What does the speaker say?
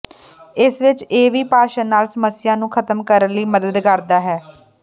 ਇਸ ਵਿਚ ਇਹ ਵੀ ਭਾਸ਼ਣ ਨਾਲ ਸਮੱਸਿਆ ਨੂੰ ਖਤਮ ਕਰਨ ਲਈ ਮਦਦ ਕਰਦਾ ਹੈ